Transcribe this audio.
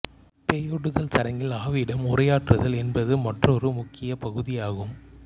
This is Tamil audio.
பேயோட்டுதல் சடங்கில் ஆவியிடம் உரையாற்றுதல் என்பது மற்றொரு முக்கியப் பகுதியாகும்